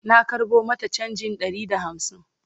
na karɓo mata chanjin Ɗari da hamsin